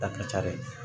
Da ka ca dɛ